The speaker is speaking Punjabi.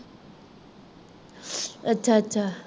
ਅੱਛਾ-ਅੱਛਾ